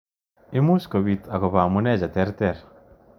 Much kopit akopo anuume cheterter.